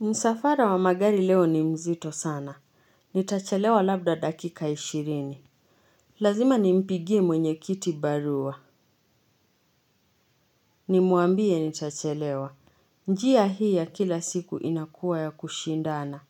Msafara wa magari leo ni mzito sana. Nitachelewa labda dakika ishirini. Lazima nimpigie mwenyekiti barua. Nimwambie nitachelewa. Njia hii ya kila siku inakuwa ya kushindana.